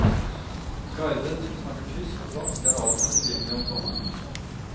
Guider som snakker tysk og fransk er alltid tilgjengelig om sommeren.